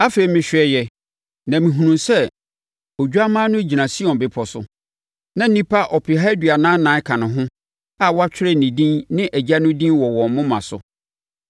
Afei, mehwɛeɛ na mehunuu sɛ Odwammaa no gyina Sion bepɔ so. Na nnipa ɔpeha aduanan ɛnan ka ne ho a wɔatwerɛ ne din ne nʼAgya din wɔ wɔn moma so.